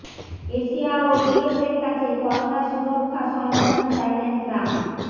Asia ও ইউরোপের কাছে করোনা সুরক্ষা সরঞ্জাম চাইলেন ট্রাম্প